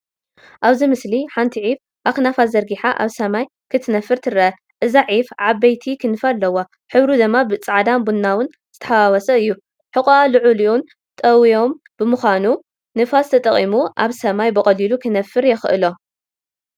ኣብዚ ምስሊ ሓንቲ ዒፍ ኣኽናፋ ዘርጊሓ ኣብ ሰማይ ክትነፍር ትርአ። እዛ ዒፍ ዓበይቲ ክንፊ ኣለዋ፣ ሕብሩ ድማ ጻዕዳን ቡናውን ዝተሓዋወሰ እዩ። ሕቖኣ ልዑልን ጠውዮምን ብምዃኑ፡ ንፋስ ተጠቒሙ ኣብ ሰማይ ብቐሊሉ ክነፍር የኽእሎ።